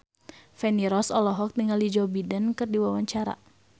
Feni Rose olohok ningali Joe Biden keur diwawancara